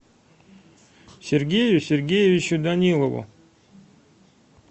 сергею сергеевичу данилову